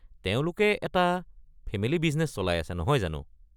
তেওঁলোকে এটা family business চলাই, নহয় জানো?